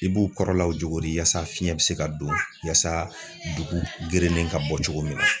I b'u kɔrɔlaw juguri yaasa fiɲɛ be se ka don yaasa dugu gerenen ka bɔ cogo min na